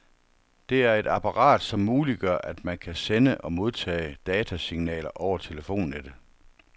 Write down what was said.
Det er et apparat, som muliggør, at man kan sende og modtage datasignaler over telefonnettet.